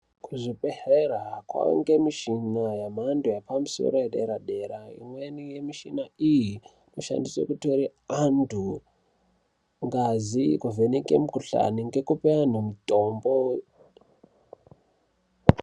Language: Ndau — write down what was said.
Kuzvibhedhlera kwaunzwe michini ngeauntu ekumuaoro edera dera . Imweni yemichina iyi inoshandiswe kutora antu ngazi kuvheneka mikhuhlani ngekupe antu mitombo.